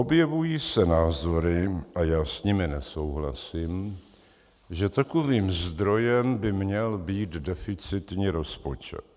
Objevují se názory, a já s nimi nesouhlasím, že takovým zdrojem by měl být deficitní rozpočet.